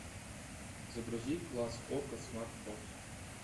загрузи класс окко смарт бокс